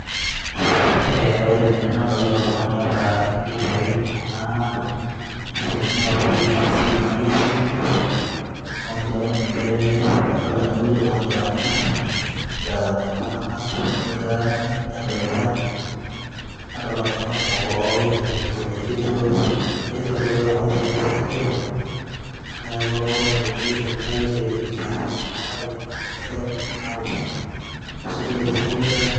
E ore tene nadolta oltungani oata irgitai kuna mashini naoshieki aseremie enkai, neaku ninche adolta tenewueji oltungani oranyita na aranyaki ltunganak negirai aining nedoltae ,nadolta ltunganak kumok oininingito enejoito netii rkulikae ake oingorisho ake sininche neaku entoki nayieu tene na ele gita okuna kulie kutitik naoshi asuj ele singolio oranyitae.